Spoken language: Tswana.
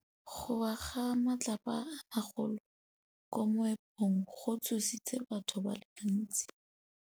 Go wa ga matlapa a magolo ko moepong go tshositse batho ba le bantsi.